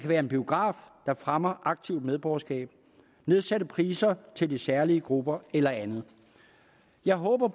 være en biograf der fremmer aktivt medborgerskab nedsatte priser til de særlige grupper eller andet jeg håber